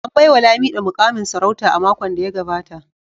An baiwa Lamido mukamin sarauta a makon da ya gabata